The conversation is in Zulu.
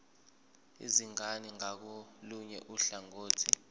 izingane ngakolunye uhlangothi